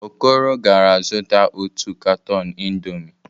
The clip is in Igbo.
Okoro gara zụta otu katọn indọmii.